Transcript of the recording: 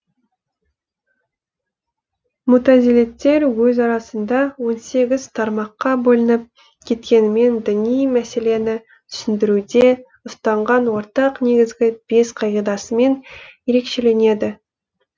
мутазилиттер өз арасында он сегіз тармаққа бөлініп кеткенімен діни мәселені түсіндіруде ұстанған ортақ негізгі бес қағидасымен ерекшеленеді